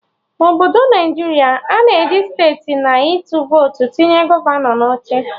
Na obodo Naijiria, a na-eji site na ịtụ votu tinye gọvanọ na oche